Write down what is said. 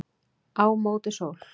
Á móti sól